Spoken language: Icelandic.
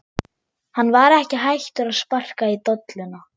Hann var ekki hættur að sparka í dolluna!